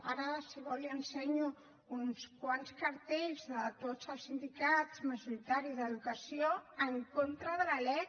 ara si ho vol li ensenyo uns quants cartells de tots els sindicats majoritaris d’educació en contra de la lec